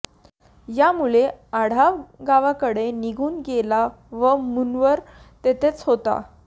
यामुळे आढाव गावाकडे निघून गेला व मूनवर तेथेच होता